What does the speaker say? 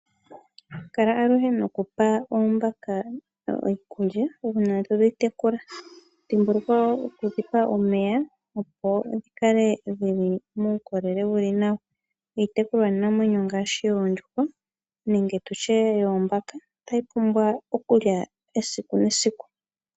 Kala aluhe nokupa oombaka iikulya uuna to dhi tekula. Dhimbulukwa wo oku dhi pa omeya, opo dhi kale dhi li muukolele wu li nawa. Iitekulwanamwenyo ngaashi oondjuhwa nenge tu tye yoombaka otayi pumbwa okulya esiku nesiku.